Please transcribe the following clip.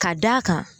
Ka d'a kan